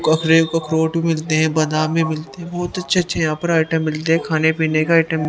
Fruit मिलते हैं बदामे मिलते हैं। बहुत अच्छे-अच्छे यहां पर आइटम मिलते हैं। खाने-पीने का आइटम --